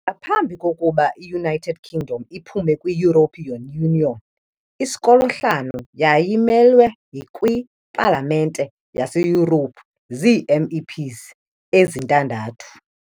Ngaphambi kokuba i -United Kingdom iphume kwi-European Union, iSkotlani yayimelwe kwiPalamente yaseYurophu zii- MEPs ezintandathu.